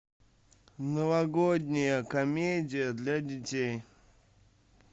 новогодняя комедия для детей